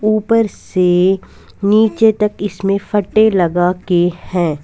ऊपर से नीचे तक इसमें फटे लगा के हैं।